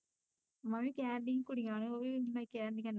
ਮੈਂ ਵੀ ਕਹਿਣ ਡਈ ਸੀ ਕੁੜੀਆ ਨੂੰ ਉਹ ਵੀ ਨਹੀਂ ਕਹਿਣ ਡਈਆ ਨਹੀਂ